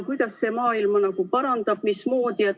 Kuidas see maailma parandab?